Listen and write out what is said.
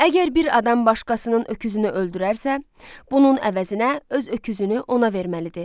Əgər bir adam başqasının öküzünü öldürərsə, bunun əvəzinə öz öküzünü ona verməlidir.